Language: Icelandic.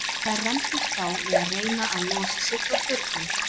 Þær rembdust þá við að reyna að losa sig frá staurnum.